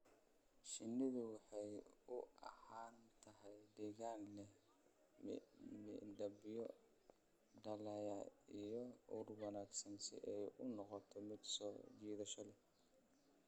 Shinnidu waxay u baahan tahay deegaan leh midabyo dhalaalaya iyo ur wanaagsan si ay u noqoto mid soo jiidasho leh.